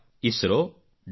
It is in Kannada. isro